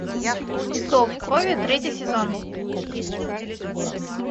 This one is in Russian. зов крови третий сезон